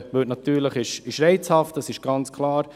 Der liberale Ansatz ist reizvoll, das ist klar.